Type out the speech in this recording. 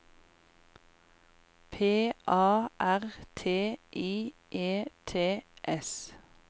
P A R T I E T S